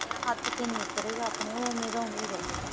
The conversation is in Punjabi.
ਹੱਥ ਤੇ ਨਹੀਂ ਉੱਤਰੇਗਾ ਆਪਣੇਂ ਉਹ ਔਵੇ ਦਾ ਔਵੇ ਰਹੇਗਾ